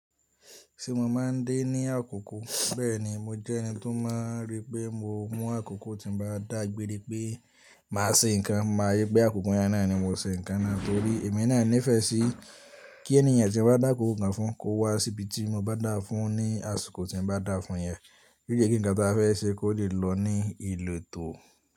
Ṣé mo má a ń dín ní àkùkú? Bẹ́ẹ̀ni, mo jẹ́ ẹni tó máa ń rí pé mo mú àkùkú tí n bá dà gbére pé màá ṣe nǹkan, mo máa yí pé àkùkú yẹn náà ni mo se nǹkan náà torí èmi náà nífẹ̀ẹ́ sí kí ẹni ènìyàn tí mo bá dà kòkò nǹkan fún kó wá sí ibi tí mo bá dà fún ní àsìkò tí mo bá dà fún yẹn. Bí i igi ǹkan tí a fẹ́ ṣe kó lè lọ ní ìlò tó.